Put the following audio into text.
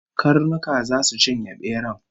Karnuka zasu cinye beran